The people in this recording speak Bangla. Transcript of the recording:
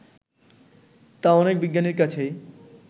তা অনেক বিজ্ঞানীর কাছেই